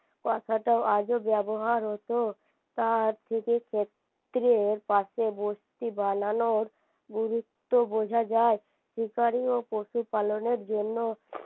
কথাটা আজও ব্যবহার হতো তার পাশে বস্তি বানানো গুরুত্ব বোঝা যায় শিকারী ও পশু পালনের জন্য